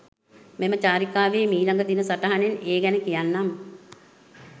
මෙම චාරිකාවෙහි මීළඟ දින සටහනෙන් ඒ ගැන කියන්නම් .